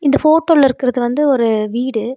இந்த போட்டோல இருக்கறது வந்து ஒரு வீடு.